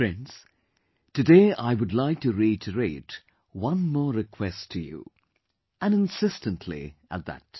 Friends, today I would like to reiterate one more request to you, and insistently at that